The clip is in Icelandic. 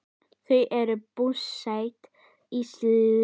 Þau eru búsett í Síle.